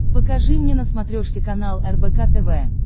покажи мне на смотрешке канал рбк тв